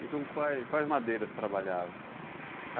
E com quais quais madeiras trabalhavam?